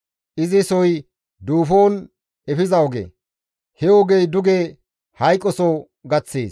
Izi soy duufon efiza oge; he ogey duge hayqoso gaththees.